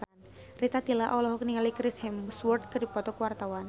Rita Tila olohok ningali Chris Hemsworth keur diwawancara